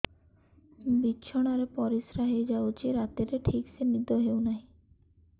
ବିଛଣା ରେ ପରିଶ୍ରା ହେଇ ଯାଉଛି ରାତିରେ ଠିକ ସେ ନିଦ ହେଉନାହିଁ